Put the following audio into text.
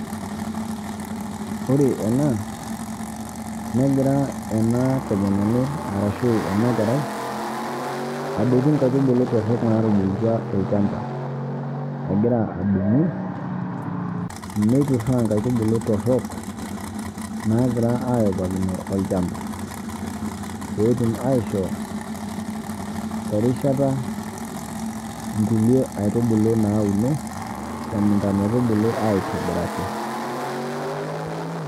Ore ena negira ena tomononi arashu enakerai adotu inkaitubulu torrok naatubulutua tolchamba. Egira adumu neitorraa inkaitubulu torrok naagira ayopakino olchamba. Peetum aaishoo erishata inkulie aitubulu naauno temukunta metubulu aitobiraki.